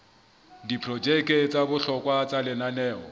diprojeke tsa bohlokwa tsa lenaneo